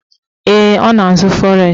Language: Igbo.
Ee, ọ na-azụ fọres